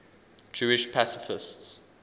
jewish pacifists